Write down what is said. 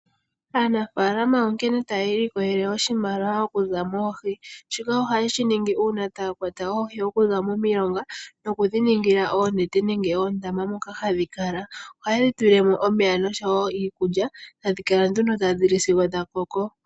Aanafalama onkene taya ilikolelele oshimaliwa okuza moohi shoka ohaye shi ningi uuna taya kwata oohi okuza momilonga nokudhi ningila oonete nenge oondama moka hadhi kala, ohaye dhi tulilemo omeya nosho iikulya tadhi kala tadhi li sigo dha koko.